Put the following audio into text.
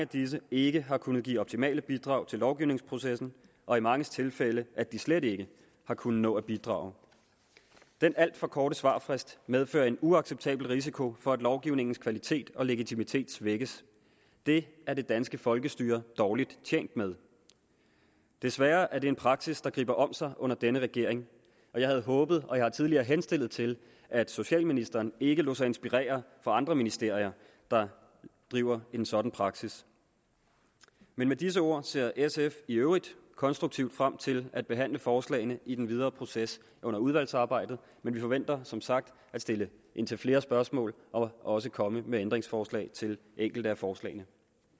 disse ikke har kunnet give optimale bidrag til lovgivningsprocessen og i mange tilfælde at de slet ikke har kunnet nå at bidrage den alt for korte svarfrist medfører en uacceptabel risiko for at lovgivningens kvalitet og legitimitet svækkes det er det danske folkestyre dårligt tjent med desværre er det en praksis der griber om sig under denne regering og jeg havde håbet og jeg har tidligere henstillet til at socialministeren ikke lod sig inspirere af andre ministerier der driver en sådan praksis med disse ord ser sf i øvrigt konstruktivt frem til at behandle forslagene i den videre proces under udvalgsarbejdet men vi forventer som sagt at stille indtil flere spørgsmål og også komme med ændringsforslag til enkelte af forslagene